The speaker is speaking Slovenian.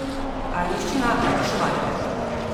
Ajdovščina, Šmarje.